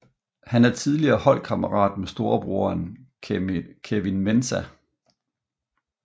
Han er tidligere holdkammerat med storebroren Kevin Mensah